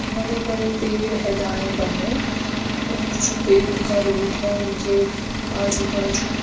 बड़े बड़े पेड़ है दाए बाय और जो पेड़ उनका रुट है उनके आजू बाजू--